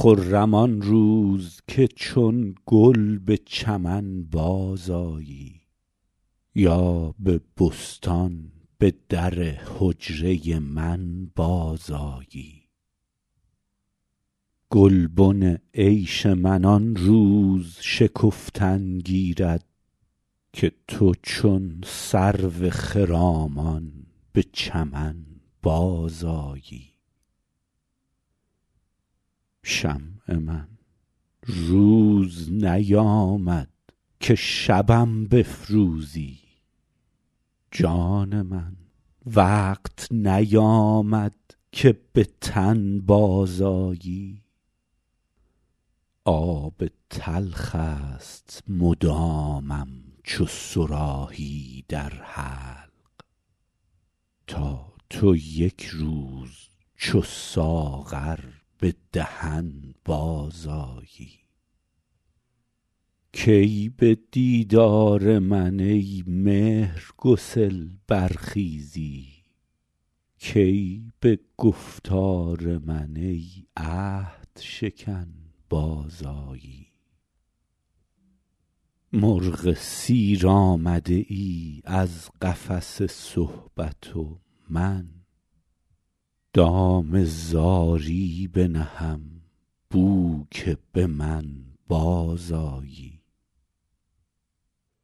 خرم آن روز که چون گل به چمن بازآیی یا به بستان به در حجره من بازآیی گلبن عیش من آن روز شکفتن گیرد که تو چون سرو خرامان به چمن بازآیی شمع من روز نیامد که شبم بفروزی جان من وقت نیامد که به تن بازآیی آب تلخ است مدامم چو صراحی در حلق تا تو یک روز چو ساغر به دهن بازآیی کی به دیدار من ای مهرگسل برخیزی کی به گفتار من ای عهدشکن بازآیی مرغ سیر آمده ای از قفس صحبت و من دام زاری بنهم بو که به من بازآیی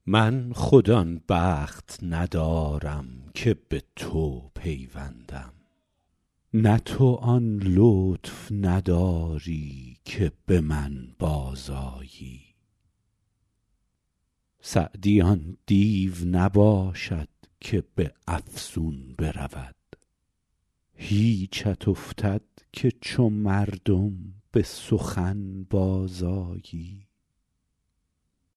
من خود آن بخت ندارم که به تو پیوندم نه تو آن لطف نداری که به من بازآیی سعدی آن دیو نباشد که به افسون برود هیچت افتد که چو مردم به سخن بازآیی